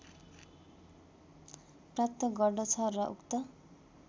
प्राप्त गर्दछ र उक्त